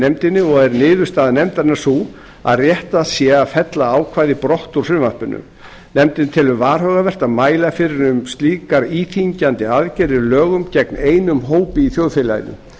nefndinni og er niðurstaða nefndarinnar sú að réttast sé að fella ákvæðið brott úr frumvarpinu nefndin telur varhugavert að mæla fyrir um slíkar íþyngjandi aðgerðir í lögum gegn einum hópi í þjóðfélaginu